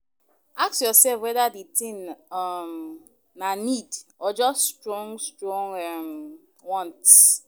Ask yourself whether the thing um na need or just strong strong um want.